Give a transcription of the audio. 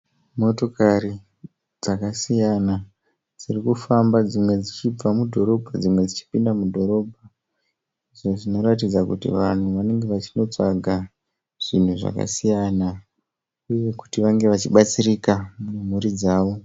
Motokari dzakasiyana dzirikufamba dzichibva mudhorobha dzimwe dzichipinda mudhorobha izvo zvinoratidza kuti vanhu vanenge vachindotsvaga zvinhu zvakasiyana uye kuti vange vachibatsirika nemhuri dzavo.